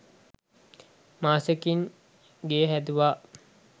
මාසයකින් ගේ හැදුවා